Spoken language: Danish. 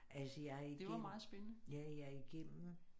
Altså jeg igennem ja jeg igennem